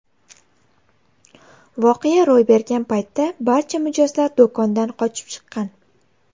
Voqea ro‘y bergan paytda barcha mijozlar do‘kondan qochib chiqqan.